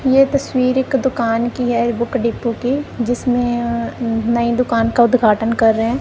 ये तस्वीर एक दुकान की है बुक डिपो की जिसमें अ नई दुकान का उद्घाटन कर रहे हैं।